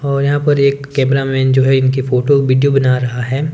और यहां पर एक कैमरा मैन जो है इनके फोटो वीडियो बना रहा है।